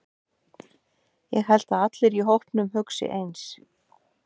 Ég held að allir í hópnum hugsi eins.